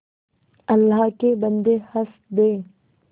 अल्लाह के बन्दे हंस दे